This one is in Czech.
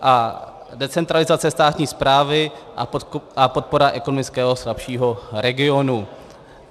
A decentralizace státní správy a podpora ekonomického slabšího regionu.